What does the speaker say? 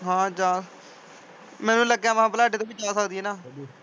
ਹਾਂ ਜਾ ਮੈਨੂੰ ਲੱਗਿਆ ਮੈਂ ਕਿਹਾ ਬਲਾਡੇ ਤੋਂ ਵੀ ਜਾ ਸਕਦੀ ਹੈ ਨਾ।